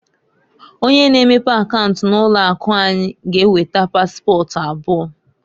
Onye na-emepe akaunt na ụlọ akụ anyị g'eweta paspọt abụọ.